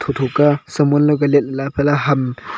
tho tho ka saman dao ka lat la kala tola ham--